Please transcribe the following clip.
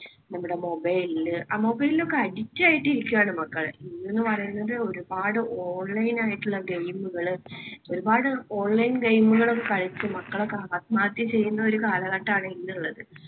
നമ്മുടെ mobile ല്. അഹ് mobile ലൊക്കെ addict ആയിട്ട് ഇരിക്കുകയാണ് മക്കള്. ഇന്നെന്നു പറയുന്നത് ഒരുപാട് online ആയിട്ടുള്ള game കൾ. ഒരുപാട് online game കൾ ഒക്കെ കളിച്ചു മക്കളൊക്കെ ആത്മഹത്യ ചെയ്യുന്ന ഒരു കാലഘട്ടമാണ് ഇന്നുള്ളത്.